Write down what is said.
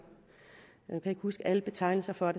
jeg kan huske alle betegnelser for